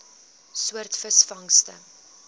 soort visvangste